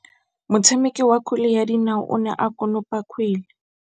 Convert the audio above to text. Motshameki wa kgwele ya dinaô o ne a konopa kgwele.